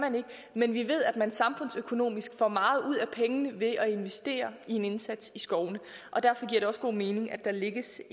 men vi ved at man samfundsøkonomisk får meget ud af pengene ved at investere i en indsats i skovene og derfor giver det også god mening at der lægges